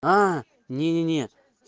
а не не не